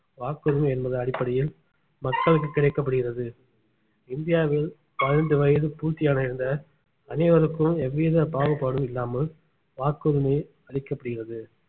வாக்குரிமை என்பது அடிப்படையில் மக்களுக்கு கிடைக்கப்படுகிறது இந்தியாவில் பதினைந்து வயசு பூர்த்தி அடைந்த அனைவருக்கும் எவ்வித பாகுபாடும் இல்லாமல் வாக்குரிமை அளிக்கப்படுகிறது